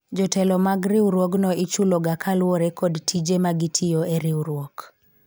jotelo mag riwruogno ichulo ga kaluwore kod tije magitiyo e riwruok